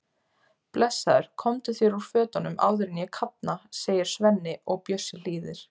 Blessaður, komdu þér úr fötunum áður en ég kafna, segir Svenni og Bjössi hlýðir.